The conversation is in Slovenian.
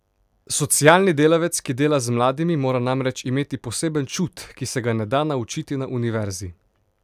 Socialni delavec, ki dela z mladimi, mora namreč imeti poseben čut, ki se ga ne da naučiti na univerzi.